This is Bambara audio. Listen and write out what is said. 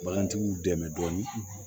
Bagantigiw dɛmɛ dɔɔni